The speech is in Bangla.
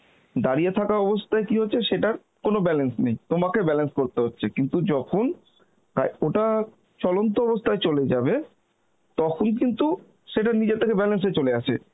দাঁড়িয়ে থাকা অবস্থায় কি হচ্ছে সেটার কোন balance নেই, তোমাকে balance করতে হচ্ছে কিন্তু যখন হায়~ ওটা চলন্ত অবস্থায় চলে যাবে তখন কিন্তু সেটা নিজে থেকে balance এ চলে আসে